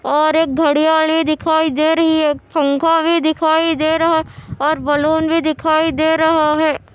और एक घड़ी-घड़ी दिखाई दे रही है पंखा भी दिखाई दे रहा है और बलून भी दिखाई दे रहा है